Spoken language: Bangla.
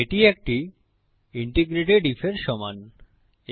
এটি একটি একীকৃত ইন্টিগ্রেটেড IF এর সমান